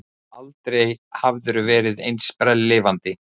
Aldrei hafðirðu verið eins sprelllifandi.